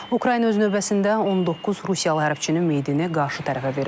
Ukrayna öz növbəsində 19 Rusiyalı hərbçinin meyidini qarşı tərəfə verib.